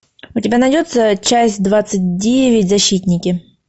у тебя найдется часть двадцать девять защитники